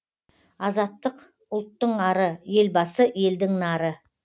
азаттық ұлттың ары елбасы елдің нары